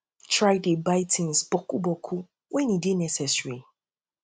try dey buy buy tins boku boku wen e dey necessary